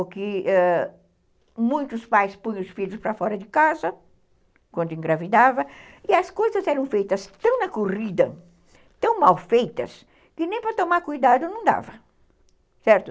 O que ãh, muitos pais punham os filhos para fora de casa, quando engravidava, e as coisas eram feitas tão na corrida, tão mal feitas, que nem para tomar cuidado não dava, certo.